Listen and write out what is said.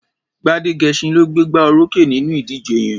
Gbádégẹṣin ló gbégbá orókè nínú ìdíje yẹn.